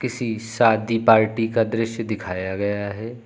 शादी पार्टी का दृश्य दिखाया गया है।